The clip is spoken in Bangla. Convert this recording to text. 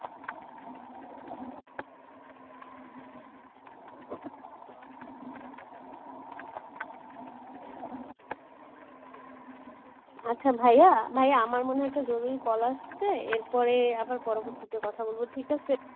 আচ্ছা ভাইয়া, ভাইয়া আমার মনে হয় একটা জরুরি call আসছে এরপরে আবার পরবর্তীতে কথা বলবো ঠিক আছে